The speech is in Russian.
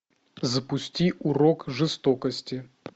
запусти урок жестокости